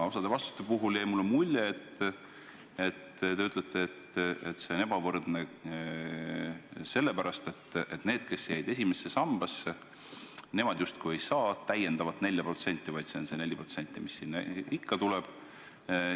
Osa vastuste puhul jäi mulle mulje, et te ütlete, et see on ebavõrdne sellepärast, et need, kes jäid ainult esimesse sambasse, justkui ei saa täiendavat 4%, vaid see on see 4%, mis sinna ikka tuleb.